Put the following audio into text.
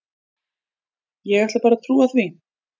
Ég ætla bara að trúa því.